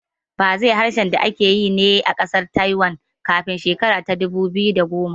Fazeh harshen da ake yi ne a ƙasar Taiwan kafin shekara ta dubu biyu da goma